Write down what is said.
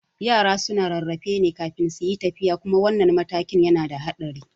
Yara suna rarrafe ne kafin suyi tafiya kuma wannan matakin yana da haɗari